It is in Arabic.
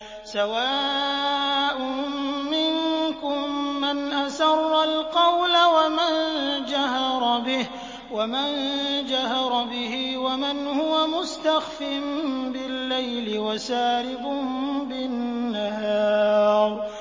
سَوَاءٌ مِّنكُم مَّنْ أَسَرَّ الْقَوْلَ وَمَن جَهَرَ بِهِ وَمَنْ هُوَ مُسْتَخْفٍ بِاللَّيْلِ وَسَارِبٌ بِالنَّهَارِ